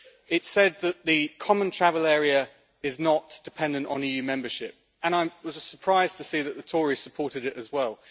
It said that the Common Travel Area is not dependent on EU membership, and I was surprised to see that the Tories supported it as well.